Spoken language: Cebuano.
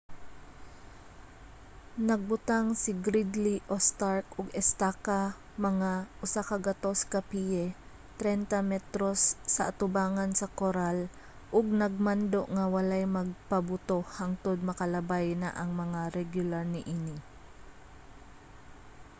nagbutang si gridley o stark og estaka mga 100 ka piye 30 m sa atubangan sa koral ug nagmando nga walay magpabuto hangtod makalabay na ang mga regular niini